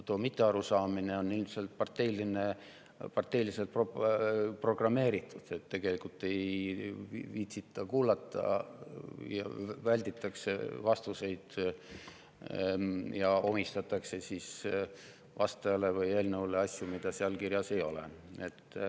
See mittearusaamine on ilmselt parteiliselt programmeeritud, ei viitsita kuulata, välditakse vastuseid ja omistatakse vastajale või eelnõule asju, mida seal kirjas ei ole.